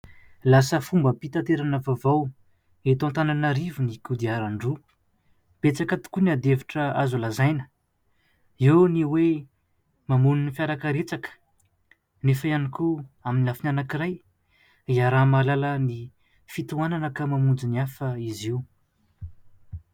Lasa fombam-pitaterana vaovao eto Antananarivo ny kodiaran-droa. Betsaka tokoa ny handefitra azo lazaina, eo ny hoe mamono ny fiarakaretsaka nefa ihany koa amin'ny lafiny anankiray iaraha-mahalala ny fitohanana ka mamonjy ny hafa izy io.